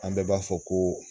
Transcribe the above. An bɛ b'a fɔ ko.